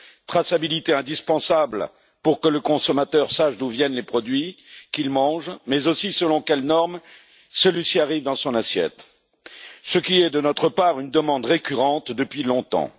Cette traçabilité est indispensable pour que le consommateur sache d'où viennent les produits qu'il mange mais aussi selon quelles normes ils arrivent dans son assiette, ce qui est, de notre part, une demande récurrente depuis longtemps.